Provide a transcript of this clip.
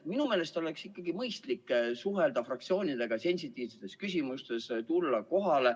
Minu meelest oleks ikkagi mõistlik suhelda fraktsioonidega sensitiivsete küsimuste korral, tulla kohale.